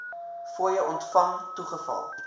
fooie ontvang toegeval